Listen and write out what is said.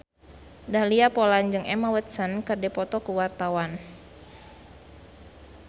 Dahlia Poland jeung Emma Watson keur dipoto ku wartawan